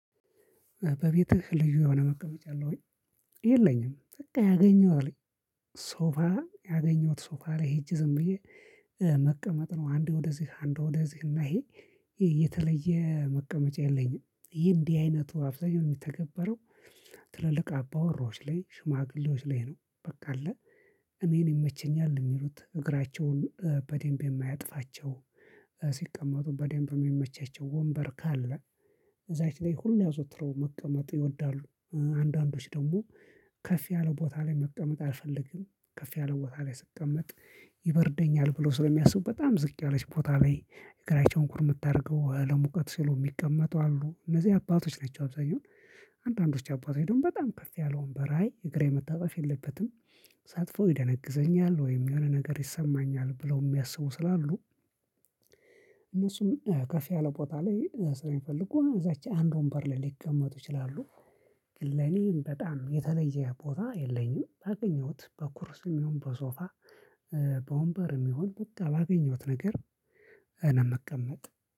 በቤትህ ልዩ የሆነ መቀመጫ አለ ወይ? የለኝም በቃ ያገኘው ሶፋ ያገኘሁት ሶፋ ላይ ሄጄ ዝም ብዬ መቀመጥ ነው። አንዴ ወደዚህ አንዴ ወደዚህ እና ይሄ የተለየ መቀመጫ የለኝም። ይሄ እንዲህ አይነቱ አብዛኛው የሚተገበረው ትልልቅ አባወራዎች ላይ ሽማግሌዎች ላይ ነው። በቃ አለ እኔን ይመችኛል የሚሉት እግራቸውን በደንብ የማያጥፋቸው ሲቀመጡ በደንብ የሚመቻቸው ወንበር ካለ እዛች ላይ ሁሌ አዘወትረው መቀመጥ ይወዳሉ። አንዳንዶች ደግሞ ከፍ ያለ ቦታ ላይ መቀመጥ አልፈልግም። ከፍ ያለ ቦታ ላይ ስቀመጥ ይበርደኛል ብሎ ስለሚያስቡ በጣም ዝቅ ያለች ቦታ ላይ እግራቸውን ኩርምት አርገው ለሙቀት ሲሉ የሚቀመጡ አሉ እነዚህ አባቶች ናቸው። አብዛኛው አንዳንዶች አባቶች ደግሞ በጣም ከፍ ያለ ወንበር ላይ አይ እግሬ መታጠፍ የለበትም። ሳጥፈው ይደነግዘኛል ወይም የሆነ ነገር ይሰማኛል ብለው የሚያስቡ ስላሉ። እነሱም ከፍ ያለ ቦታ ላይ ስለሚፈልጉ እዛች አንድ ወንበር ላይ ሊቀመጡ ይችላሉ። ግን ለኔም በጣም የተለየ ቦታ የለኝም ባገኘሁት በኩርሲም ይሁን በሶፋ በወንበር ይሁን በቃ ባገኘሁት ነገር ነው የምቀመጥ